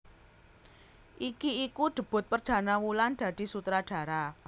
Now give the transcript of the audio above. Iki iku debut perdana Wulan dadi sutradara